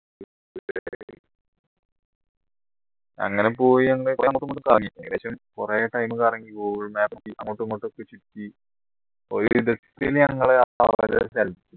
അങ്ങനെ പോയി കുറെ time കറങ്ങി google map നോക്കി അങ്ങോട്ടും ഇങ്ങോട്ടും